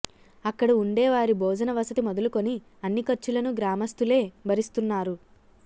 అక్కడ ఉండే వారి భోజన వసతి మొదలుకొని అన్ని ఖర్చులను గ్రామస్తులే భరిస్తున్నారు